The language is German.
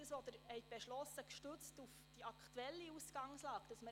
Was Sie gestützt auf die damals aktuelle Ausgangslage beschlossen...